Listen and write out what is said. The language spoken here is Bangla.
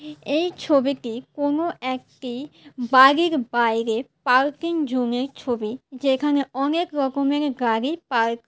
এই ছবিটি কোন একটি বাড়ির বাইরে পার্কিং জোনের ছবি যেখানে অনেক রকমের গাড়ি পার্ক ।